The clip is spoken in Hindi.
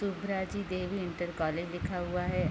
शुभराजी देवी इंटर कॉलेज लिखा हुआ है।